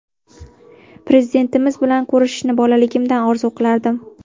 Prezidentimiz bilan ko‘rishishni bolaligimdan orzu qilardim.